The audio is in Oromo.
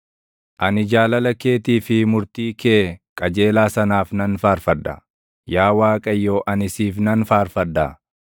Ani jaalala keetii fi murtii kee qajeelaa sanaaf nan faarfadha; Yaa Waaqayyo ani siif nan faarfadha.